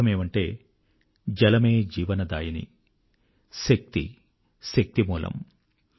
అర్థమేమంటే జలమే జీవనదాయిని శక్తి శక్తిమూలం